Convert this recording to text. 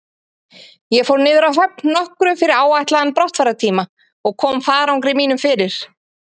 Ég fór niður að höfn nokkru fyrir áætlaðan brottfarartíma og kom farangri mínum fyrir.